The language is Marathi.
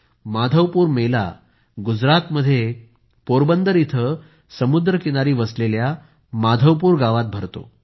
माधवपुर मेला गुजरातमध्ये पोरबंदर इथं समुद्र किनारी वसलेल्या माधवपूर गावात भरतो